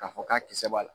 K'a fɔ k'a kisɛ b'a la